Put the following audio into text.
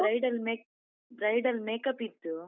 Bridal make~ bridal makeup ಇತ್ತು.